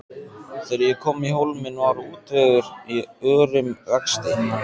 Þegar ég kom í Hólminn var útvegur í örum vexti.